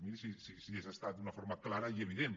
miri si és estat d’una forma clara i evident